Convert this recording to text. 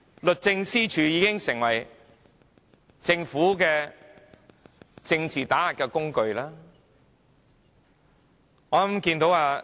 律政司已成為政府的政治打壓工具。